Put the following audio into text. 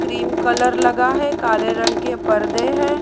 Cream colour लगा है काले रंग के पर्दे हैं।